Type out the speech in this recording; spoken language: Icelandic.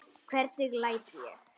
Hvernig læt ég!